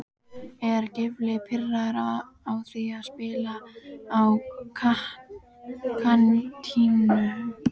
Er Gylfi pirraður á því að spila á kantinum?